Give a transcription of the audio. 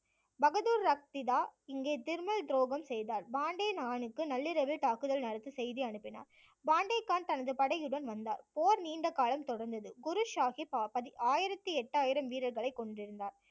பகதூர் ரக்திதா இங்கே திர்மல் துரோகம் செய்தார் பெண்டே கானுக்கு நள்ளிரவில் தாக்குதல் நடத்த செய்தி அனுப்பினார். பெண்டே கான் தனது படையுடன் வந்தார் போர் நீண்ட காலம் தொடர்ந்தது, குரு சாஹிப் ஆயிரத்தி எட்டாயிரம் வீரர்களை கொண்டிருந்தார்